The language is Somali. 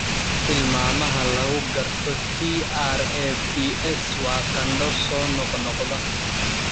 Tilmaamaha lagu garto TRAPS waa qandho soo noqnoqda.